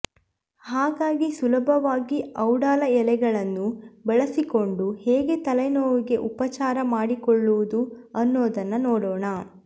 ಹಾಗಾಗಿ ಸುಲಭವಾಗಿ ಔಡಲ ಎಲೆಗಳನ್ನು ಬಳಸಿಕೊಂಡು ಹೇಗೆ ತಲೆನೋವುಗೆ ಉಪಚಾರ ಮಾಡಿಕೊಳ್ಳೋದು ಅನ್ನೋದನ್ನ ನೋಡೋಣ